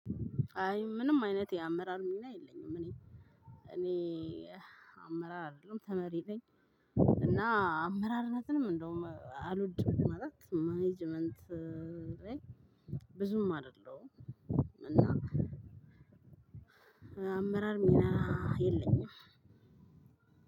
አይ ምንም አይነት የአመራር ሚና የለኝም። እኔ እኔ አመራር አይደለሁም ተመሪ ነኝ። እና አመራርነትንም እንደውም አልወድም ማለት ማኔጅመንት። ብዙም አይደለም። እና አመራር ሚና የለኝም።